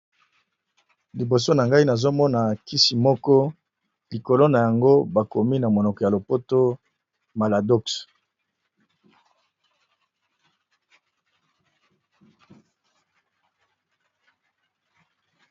Liboso nangai nazomona kisi moko likolo nayango bakomi na monoko ya lopoto maladox .